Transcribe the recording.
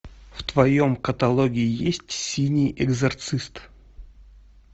в твоем каталоге есть синий экзорцист